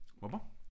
Hva' ba'?